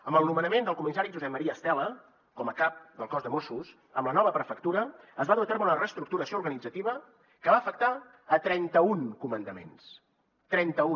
amb el nomenament del comissari josep maria estela com a cap del cos de mossos amb la nova prefectura es va dur a terme una reestructuració organitzativa que va afectar trenta un comandaments trenta un